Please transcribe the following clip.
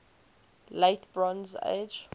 late bronze age